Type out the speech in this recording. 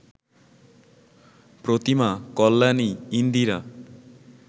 Pratima, Kalyani, Indira